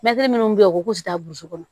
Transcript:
Mɛtiri minnu bɛ yen u ko k'u tɛ taa kɔnɔ